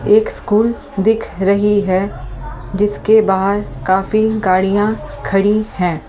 एक स्कूल दिख रही है जिसके बाहर काफी गाड़ियां खड़ी हैं ।